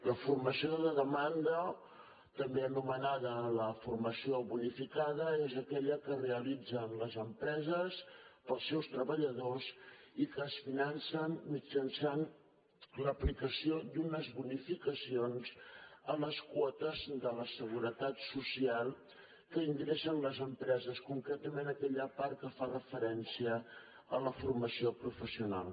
la formació de demanda també anomenada la formació bonificada és aquella que realitzen les empreses per als seus treballadors i que es finança mitjançant l’aplicació d’unes bonificacions a les quotes de la seguretat social que ingressen les empreses concretament aquella part que fa referència a la formació professional